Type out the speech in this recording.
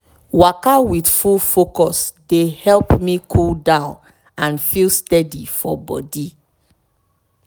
waka with full focus dey help me cool down and feel steady for body.